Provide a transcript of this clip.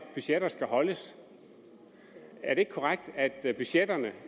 budgetter skal holdes er det ikke korrekt at budgetterne